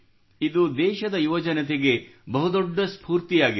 ಇದು ದೇಶದ ಯುವಜನತೆಗೆ ಬಹುದೊಡ್ಡ ಸ್ಫೂರ್ತಿಯಾಗಿದೆ